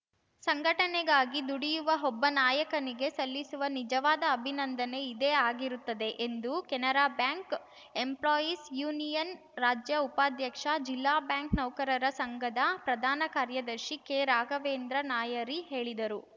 ಸಂಘಟನೆಗಾಗಿ ದುಡಿಯುವ ಒಬ್ಬ ನಾಯಕನಿಗೆ ಸಲ್ಲಿಸುವ ನಿಜವಾದ ಅಭಿನಂದನೆ ಇದೇ ಆಗಿರುತ್ತದೆ ಎಂದು ಕೆನರಾ ಬ್ಯಾಂಕ್‌ ಎಂಪ್ಲಾಯೀಸ್‌ ಯೂನಿಯನ್‌ ರಾಜ್ಯ ಉಪಾಧ್ಯಕ್ಷ ಜಿಲ್ಲಾ ಬ್ಯಾಂಕ್‌ ನೌಕರರ ಸಂಘದ ಪ್ರಧಾನ ಕಾರ್ಯದರ್ಶಿ ಕೆರಾಘವೇಂದ್ರ ನಾಯರಿ ಹೇಳಿದರು